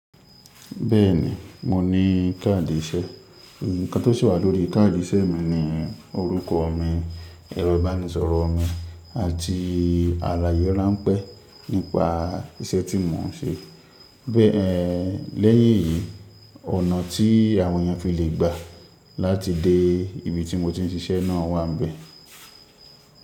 Bẹ́ẹ̀ni, mo ní káàdì iṣẹ́. Ǹkan tó sì wà lórí káàdì iṣẹ́ mi ni orúkọ mi, ẹ̀rọ ìbánisọ̀rọ̀ mi àti àlàyé ráńpẹ́ nípa iṣẹ́ tí mo ń ṣe. Bẹ́ẹ̀ lẹ́yìn èyí, ọ̀nà tí àwọn èèyàn fi lè gbà láti dé ibi tí mo ti ń ṣiṣẹ́ náà wà níbẹ̀.